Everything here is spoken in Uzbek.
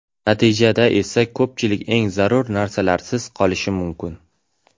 Natijada esa ko‘pchilik eng zarur narsalarsiz qolishi mumkin.